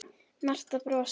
Marta brosir.